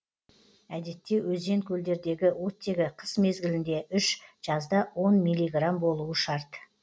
әдетте өзен көлдердегі оттегі қыс мезгілінде үш жазда он миллиграмм болуы шарт